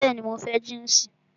Bẹẹni, mo fẹ́ jínsì